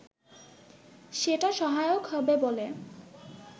সেটা সহায়ক হবে বলে